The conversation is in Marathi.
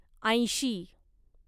ऐंशी